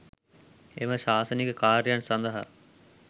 එම ශාසනික කාර්යයන් සඳහා